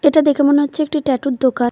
এটা দেখে মনে হচ্চে একটি ট্যাটু -এর দোকান।